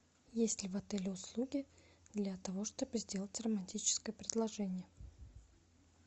есть ли в отеле услуги для того чтобы сделать романтическое предложение